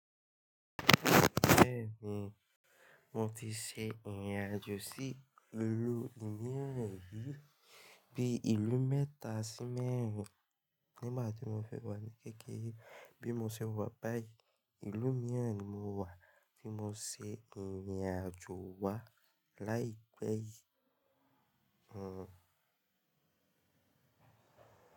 Bẹ́ẹ̀ni, mo ti ṣe ìrìn àjò sí ìlú mìíràn rí bí i ìlú mẹ́ta sí mẹ́rin nígbà tí mo fi wà ní kékeré. Bí mo ṣe wà báyìí, ìlú mìíràn ni mo wà tí mo ṣe ìrìn àjò wá láì pẹ́ yìí. Hm.